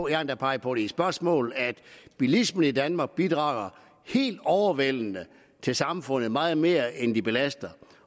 endda peget på i spørgsmål at bilisterne i danmark bidrager helt overvældende til samfundet meget mere end de belaster